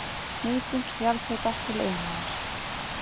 Nýting jarðhita til iðnaðar